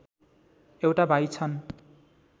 एउटा भाइ छन्